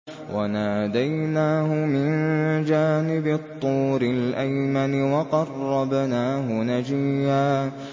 وَنَادَيْنَاهُ مِن جَانِبِ الطُّورِ الْأَيْمَنِ وَقَرَّبْنَاهُ نَجِيًّا